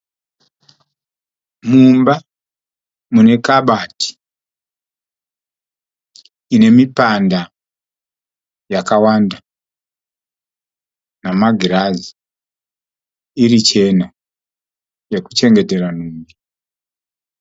Mumba, mune kabati ine mipanda yakawanda namagirazi iri chena yokuchengetera nhumbi.